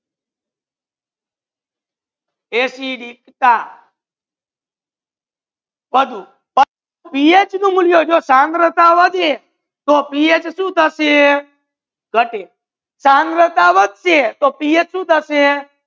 એસિડિકતા વધુ પીએચ નુ મુલ્યા જો સાંદ્રતા વધે તો પીએચ સુ થસે ગતે સાંદ્રતા વધસે તો પીએચ સુ થસે